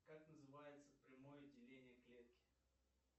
как называется прямое деление клетки